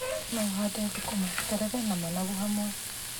No ũhande thũkũma, terere na managu hamwe.